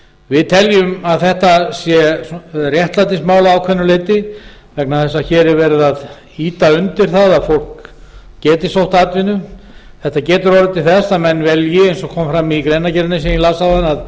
við teljum að þetta sé réttlætismál að ákveðnu leyti vegna þess að hér er verið að ýta undir það að fólk geti sótt atvinnu þetta getur orðið til þess að menn velji eins og fram kom í greinargerðinni sem ég las